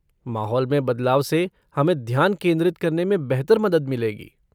माहौल में बदलाव से हमें ध्यान केंद्रित करने में बेहतर मदद मिलेगी।